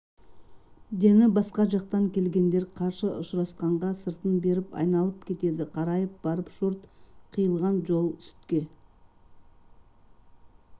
дені басқа жақтан келгендер қарсы ұшырасқанға сыртын беріп айналып кетеді қарайып барып шорт қиылған жол сүтке